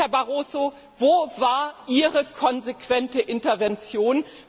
Herr Barroso, wo war Ihre konsequente Intervention?